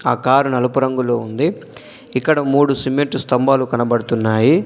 ఆ కారు నలుపు రంగులో ఉంది ఇక్కడ మూడు సిమెంట్ స్తంభాలు కనబడుతున్నాయి.